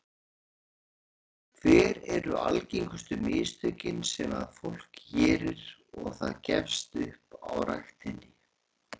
Jóhann: Hver eru algengustu mistökin sem að fólk gerir og það gefst upp á ræktinni?